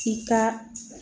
K'i ka